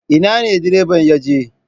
Ina ne direban ya je?